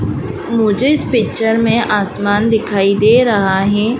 मुझे इस पिक्चर में आसमान दिखाई दे रहा हैं।